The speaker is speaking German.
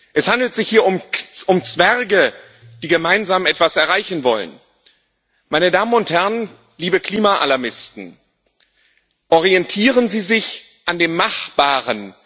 Es handelt sich hier um Zwerge, die gemeinsam etwas erreichen wollen. Meine Damen und Herren, liebe Klima Alarmisten, orientieren Sie sich an dem Machbaren!